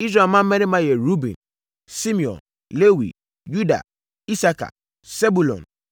Israel mmammarima yɛ Ruben, Simeon, Lewi, Yuda, Isakar, Sebulon,